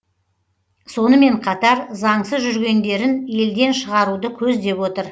сонымен қатар заңсыз жүргендерін елден шығаруды көздеп отыр